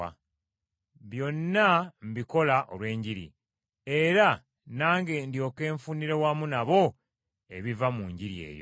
Byonna mbikola olw’enjiri, era nange ndyoke nfunire wamu nabo ebiva mu Njiri eyo.